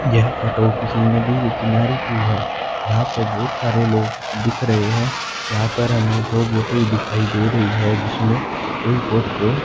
यह फोटो किसी नदी के किनारे की है यहां पर बहुत सारे लोग दिख रहे हैं यहां पर हमें दो बोटें भी दिखाई दे रही है जिसमें एक बोट तो--